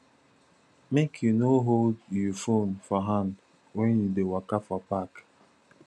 make you no hold you phone for hand wen you dey waka for park